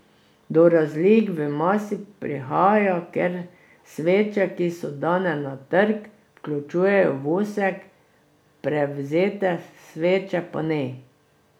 Do razlik v masi prihaja, ker sveče, ki so dane na trg, vključujejo vosek, prevzete sveče pa ne.